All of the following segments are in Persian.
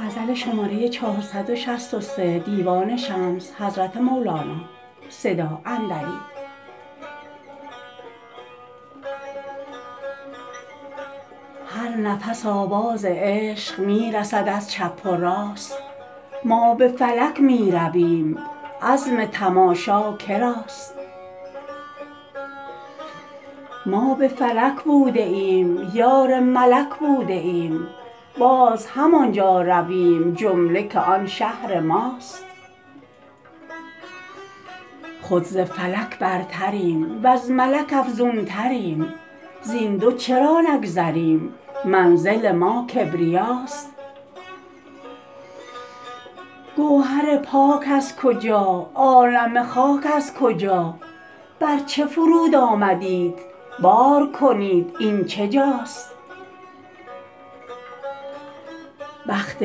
هر نفس آواز عشق می رسد از چپ و راست ما به فلک می رویم عزم تماشا که راست ما به فلک بوده ایم یار ملک بوده ایم باز همان جا رویم جمله که آن شهر ماست خود ز فلک برتریم وز ملک افزونتریم زین دو چرا نگذریم منزل ما کبریاست گوهر پاک از کجا عالم خاک از کجا بر چه فرود آمدیت بار کنید این چه جاست بخت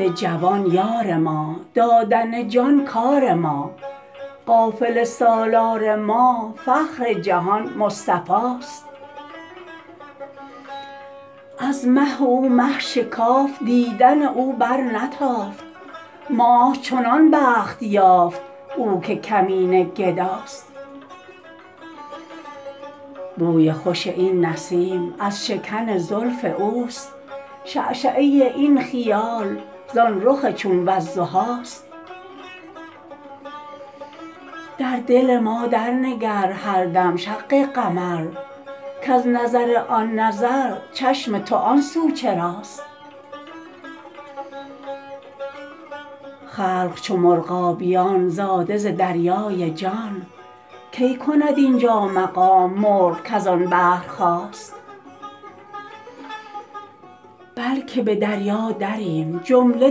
جوان یار ما دادن جان کار ما قافله سالار ما فخر جهان مصطفاست از مه او مه شکافت دیدن او برنتافت ماه چنان بخت یافت او که کمینه گداست بوی خوش این نسیم از شکن زلف اوست شعشعه این خیال زان رخ چون والضحاست در دل ما درنگر هر دم شق قمر کز نظر آن نظر چشم تو آن سو چراست خلق چو مرغابیان زاده ز دریای جان کی کند این جا مقام مرغ کز آن بحر خاست بلک به دریا دریم جمله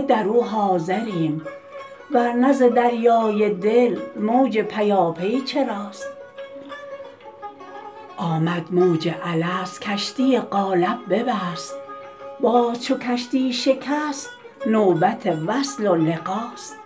در او حاضریم ور نه ز دریای دل موج پیاپی چراست آمد موج الست کشتی قالب ببست باز چو کشتی شکست نوبت وصل و لقاست